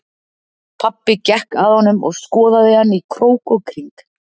Pabbi gekk að honum og skoðaði hann í krók og kring.